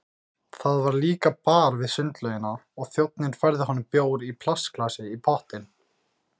Það var líka bar við sundlaugina og þjónninn færði honum bjór í plastglasi í pottinn.